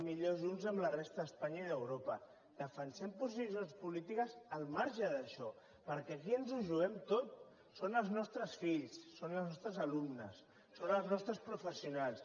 millor junts amb la resta d’espanya i d’europa defensem posicions polítiques al marge d’això perquè aquí ens ho juguem tot són els nostres fills són els nostres alumnes són els nostres professionals